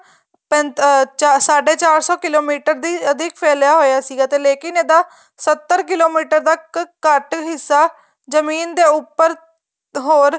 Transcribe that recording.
ਅਹ ਸਾਢ਼ੇ ਚਾਰ ਸੋ ਕਿਲੋਮੀਟਰ ਦੀ ਅਧਿਕ ਫ਼ੈਲਿਆ ਹੋਇਆ ਸੀਗਾ ਤੇ ਲੇਕਿਨ ਇਹਦਾ ਸੱਤਰ ਕਿਲੋਮੀਟਰ ਦਾ ਘੱਟ ਹਿੱਸਾ ਜ਼ਮੀਨ ਦੇ ਉੱਪਰ ਹੋਰ